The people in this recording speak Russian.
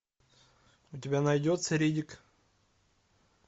у тебя найдется риддик